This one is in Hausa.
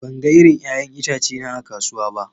Ban ga irin 'ya'yan itace na a kasuwa ba.